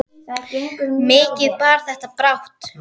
Mikið bar þetta brátt að.